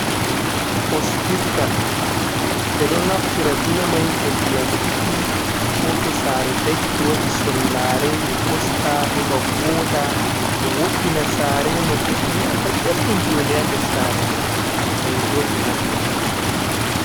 Ɓostirgal, ɓe ɗon naftira be mai to ndiyam rufi, ko to sare dakki waɗi sollaare, be ɓosta heɓa vooɗa. Ɓe wo’ina sare no goɗɗo nanta belɗum jonɗe ha ndes sare mai, kanjum on ɓe naftirta ɓe ɗo.